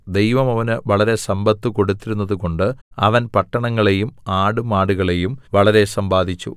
ദൈവം അവന് വളരെ സമ്പത്ത് കൊടുത്തിരുന്നതു കൊണ്ട് അവൻ പട്ടണങ്ങളെയും ആടുമാടുകളെയും വളരെ സമ്പാദിച്ചു